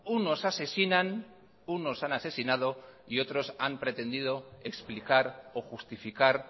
unos asesinan unos han asesinado y otros han pretendido explicar o justificar